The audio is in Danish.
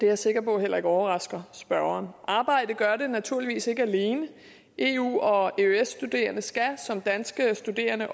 jeg sikker på heller ikke overrasker spørgeren arbejde gør det naturligvis ikke alene og eu og eøs studerende skal ligesom danske studerende